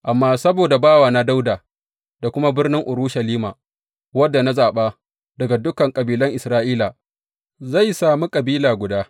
Amma saboda bawana Dawuda da kuma birnin Urushalima, wadda na zaɓa daga dukan kabilan Isra’ila, zai sami kabila guda.